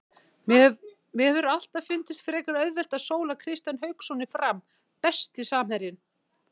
Mér hefur alltaf fundist frekar auðvelt að sóla Kristján Hauksson í Fram Besti samherjinn?